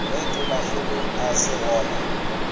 ge tonakgolo a se gona